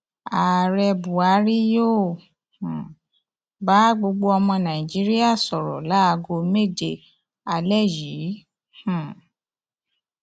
ààrẹ buhari yóò um bá gbogbo ọmọ nàíjíríà sọrọ láago méje alẹ yìí um